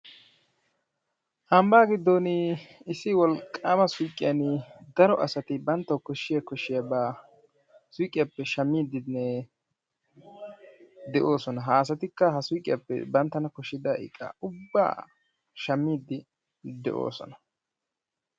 Ambba giddo issi wolqqama suyqqiyan daro asati banttawu koshshiya koshshiyaaba suyqqiyappe shammidenne de'oosona. Ha asatikka ha suyqqiyappe banttana koshshida iqqa ubba shammidi de'oosona.